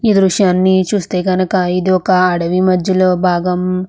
ఈ దృశ్యాన్ని చూస్తే కనుక ఇది ఒక అడవి మధ్యలో భాగం --